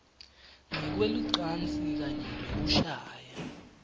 ngekwelucansi kanye nekushaya